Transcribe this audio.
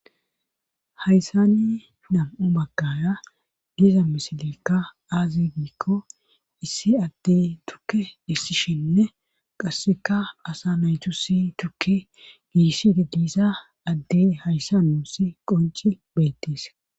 Hayssani nam'o maggaya diiza misilikka aazi diikko issi addey dukke dissishinne qasseka asa naytu si tukke giissidi diisa addey hayssa ussi qonci beettis.